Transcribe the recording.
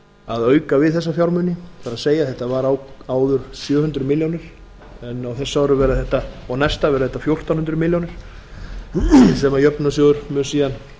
að auka við þessa fjármuni það er þetta var áður sjö hundruð milljónir en á þessu ári og næsta verða þetta fjórtán hundruð milljónir sem jöfnunarsjóður mun síðan